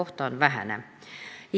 See praegu väheneb.